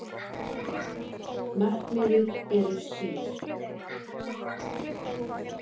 Markmiðið eru skýr